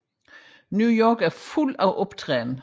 New York er fuld af optrædende